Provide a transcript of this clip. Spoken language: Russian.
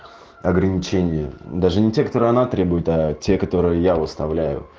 ограничения даже не те которые она требует а те которые я выставляю